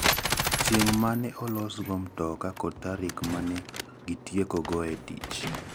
Chieng' ma ne olosgo mtoka kod tarik ma ne gitiekoe tich.